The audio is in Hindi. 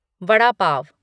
वड़ा पाव